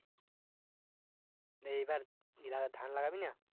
এইবার ই লাগা ধান লাগাবিনা?